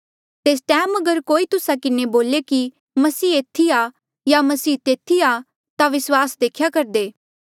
तेस टैम अगर कोई तुस्सा किन्हें बोले कि मसीह एथी आ या मसीह तेथी आ ता विस्वास देख्या करदे